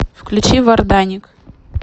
включи варданик